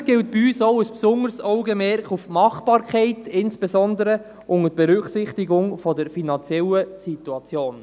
Natürlich gilt bei uns ein besonderes Augenmerk der Machbarkeit, insbesondere unter Berücksichtigung der finanziellen Situation.